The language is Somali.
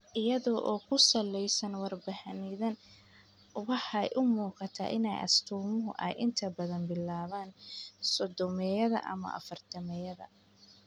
Iyada oo ku saleysan warbixinnadan, waxay u muuqataa in astaamuhu ay inta badan bilaabaan sodhomeeyada ama afaartameeyada.